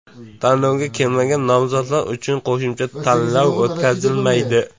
Tanlovga kelmagan nomzodlar uchun qo‘shimcha tanlov o‘tkazilmaydi.